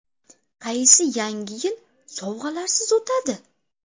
Qaysi Yangi yil sovg‘alarsiz o‘tadi?